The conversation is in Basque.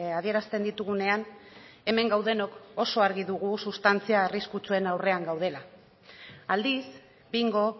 adierazten ditugunean hemen gaudenok oso argi dugu sustantzia arriskutsuen aurrean gaudela aldiz bingo